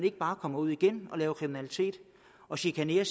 ikke bare kommer ud igen og laver kriminalitet og chikanerer